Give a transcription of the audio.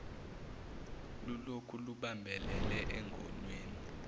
lulokhu lubambelele engonweni